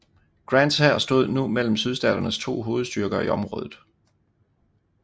Grants hær stod nu mellem Sydstaternes to hovedstyrker i området